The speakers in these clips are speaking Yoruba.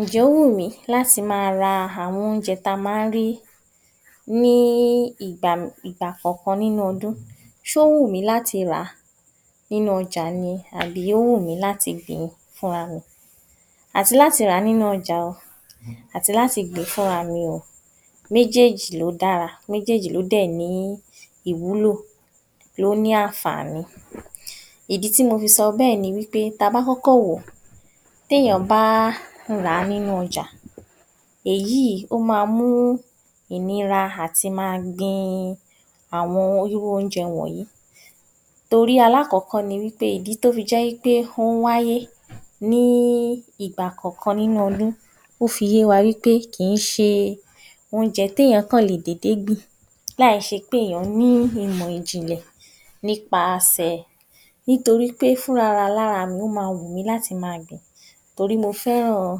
Ǹjẹ́ ó wùmí láti máa ra àwọn oúnjẹ ta máa ń rí ní í í ìgbà ìgbà kọ̀ kan nínú ọdún, só wù mí láti rà á nínú ọjà ni tàbí ó wùmí láti gbìn ín fún ra mi. Àti láti rà nínú ọjà ò àti láti gbìn ín fún ra mi ò méjèjì ló dára, méjèjì ló dé ní ìwúlò, ló ní ànfàní. Ìdí tí mọ fi sọ bẹ ni wí pé ta bá kókó wo té yàn bá ń rà á nínú ọjà èyí ó ma mú ìnira àti ma gbin áwọn irú oúnjẹ wọ̣́nyí torí alákọ̣́kọ́ ni wípé ìdí tó fi jẹ́ wí pé ó hún wáyé ní í í ìgbà kọ̀kan nínú ọdún, ó fi yé wa wípé kì í ṣe oúnjẹ té yàn kàn lè dédé gbìn láì ṣé pé ẹ̀yàn ní ìmọ́ ìjìnlẹ̀ nípasẹ̀. Nítorí pé fún aralára mi ó ma wùmí láti ma gbìn torí mo fẹ́ràn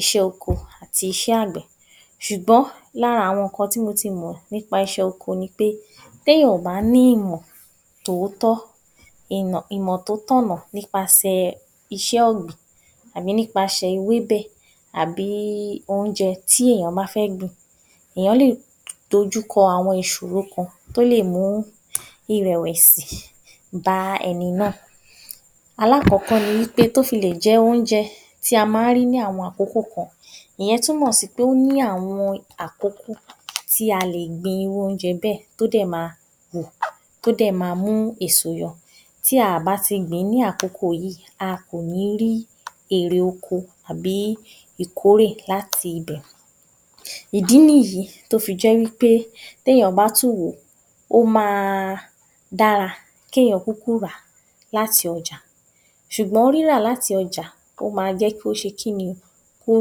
iṣẹ́ ọkọ àti iṣé àgbè, sùgbọ́n lára àwọn ǹkan tí mọ ti mọ̀ nípa ìṣe ọkọ ni pé, té yàn ò bá ní ìmọ̀ tòótó ìmọ̀ ìmọ̀ tó tọ̀nà nípasẹ̀ iṣẹ́ ọ̀gbìn àbí nípasẹ ewébẹ̀ àbí oúnjẹ tí èyàn bá fẹ̀ gbìn. Èyàn lè dojúkọ àwọn ìsòro kan tó lè mú ìrẹ̀wẹ̀sì bá ẹni náà. Alákọ́kọ́ ni wípé tó fi lè jẹ́ oúnjẹ tí a ma ń rí ní àwọn àkókò kan, ìyen túmọ̀ sí pé o ní àwọn àkókò kan tí a lè gbin oúnjẹ bẹ tó dè ma wù, tó dè ma mú èso yọ tí à bá ti gbìn ní àkokò yí a kò ní rí èrè oko àbí ìkórè láti bẹ̀. Ìdí nìyí tó fi jẹ́ wí pé té yàn bá tún wọ, ó máa dára ké yàn kúkú rà a láti ọjà sùgbọ́n rírà láti ọjà ó ma jẹ́ kó ṣe kíni, kó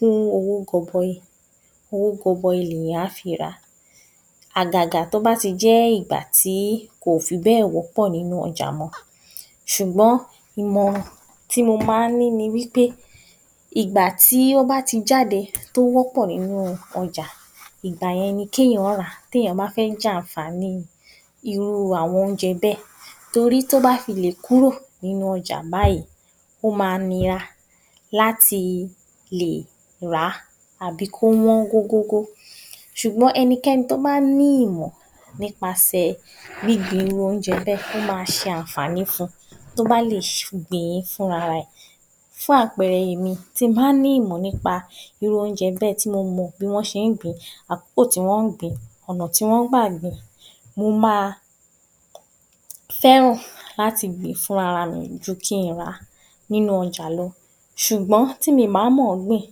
gún owó gọbọi, owó gọbọi lè yàn á fi rà ̣á, àgàgà tó bá ti jẹ́ ìgbà tí kò fi bẹ̣́ẹ̀ wọ́pọ̀ nínú ọjà ni sùgbọ́n ìmọ̀ràn tí mo má ní ni wí pé ìgbà tí ó bá ti jáde tó wọ́pọ̀ nínú ọjà ìgbà yẹn ké yàn ra, té yàn bá fẹ́ jẹ ànfàní irú àwọn oúnjẹ bẹ torí tó bá fi lè kúrò nínú ọjà báyìí, ó ma nira láti lè rà á àbí kó wọ́n gógógó sùgbọ́n enikẹ́ni tó bá ní ìmọ̀ nipasẹ̀ gbíngbin irú oúnjẹ bẹ ó ma ṣe ànfàní fun tó bá lè gbìn ín fún ara rẹ̀, fún àpẹrẹ èmi, tin bá ní ìmọ̀ nípa irú oúnjẹ bẹ tí mọ mò bí wón ṣe ń gbìn ín àkókò tí wọ́n ń gbìn ín, ònà tí wọ́n ń gbà gbìn ín, mo máa fẹ́ràn láti gbìn ín fún rárá mi ju kín in rà nínú ọjà lọ sùgbọ́n tí mi bá mọ̀n gbìn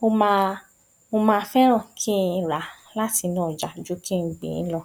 mo máa mo ma fẹ́ràn kín rà á láti inú ọjà ju kín in gbìn ín lọ